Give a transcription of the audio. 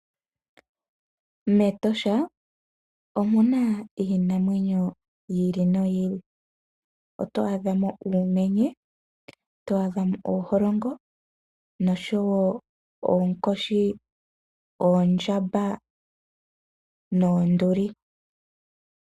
Metosha omuna iinamwenyo yi ili noyi ili. Oto adhamo uumenye, oto adhamo ooholongo nosho woo oonkoshi, oondjamba noonduli.